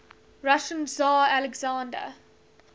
russian tsar alexander